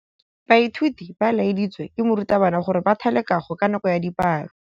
Baithuti ba laeditswe ke morutabana gore ba thale kagô ka nako ya dipalô.